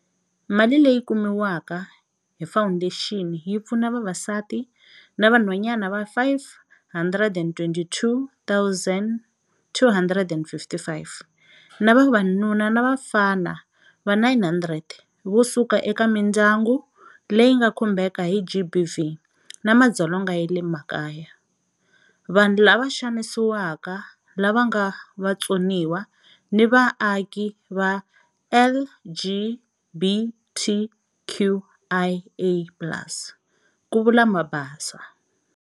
Mali leyi kumiwaka hi fawundexini yi pfuna vavasati na vanhwanyana va 522 255 na vavanuna na vafana va 900 vo suka eka mindyangu leyi nga khumbeka hi GBV na madzolonga ya le makaya, vanhu lava xanisiweke lava nga vatsoniwa, na vaaki va LGBTQIA plus, ku vula Mabaso.